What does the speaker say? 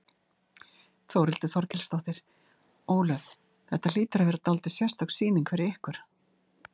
Þórhildur Þorkelsdóttir: Ólöf, þetta hlýtur að vera dálítið sérstök sýning fyrir ykkur?